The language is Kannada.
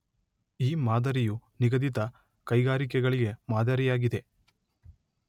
ಈ ಮಾದರಿಯು ನಿಗದಿತ ಕೈಗಾರಿಕೆಗಳಿಗೆ ಮಾದರಿಯಾಗಿದೆ.